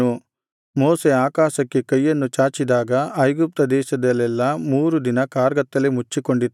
ಮೋಶೆ ಆಕಾಶಕ್ಕೆ ಕೈಯನ್ನು ಚಾಚಿದಾಗ ಐಗುಪ್ತ ದೇಶದಲ್ಲೆಲ್ಲಾ ಮೂರು ದಿನ ಕಾರ್ಗತ್ತಲೆ ಮುಚ್ಚಿಕೊಂಡಿತು